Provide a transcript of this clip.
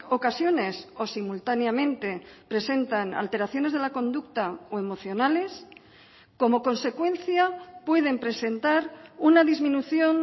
ocasiones o simultáneamente presentan alteraciones de la conducta o emocionales como consecuencia pueden presentar una disminución